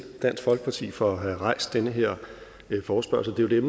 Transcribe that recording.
dansk folkeparti for at have rejst den her forespørgsel det er